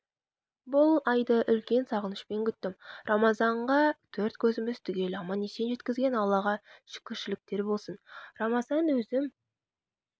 бұл айды үлкен сағынышпен күттім рамазанға төрт көзіміз түгел аман-есен жеткізген аллаға шүкірліктер болсын рамазан өзім